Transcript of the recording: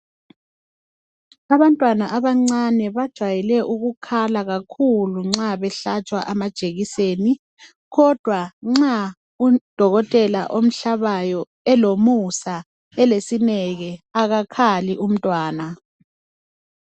Abantwana abancane bajayele ukukhala kakhulu nxa behlatshwa amajekiseni. Khodwa nxa udokotela omhlabayo elomusa elesineke akakhali umntwana.